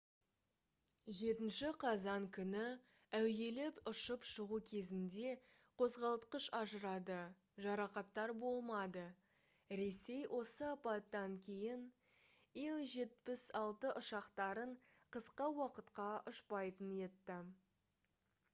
7 қазан күні әуелеп ұшып шығу кезінде қозғалтқыш ажырады жарақаттар болмады ресей осы апаттан кейін ил-76 ұшақтарын қысқа уақытқа ұшпайтын етті